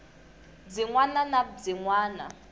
byin wana na byin wana